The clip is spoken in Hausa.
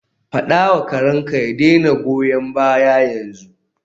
Faɗa wa karenka ya daina goyan baya yanzu.